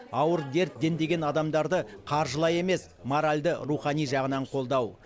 ауыр дерт дендеген адамдарды қаржылай емес моральді рухани жағынан қолдау